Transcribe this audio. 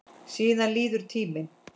Síðan líður tíminn.